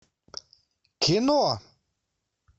кино